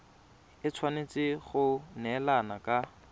e tshwanetse go neelana ka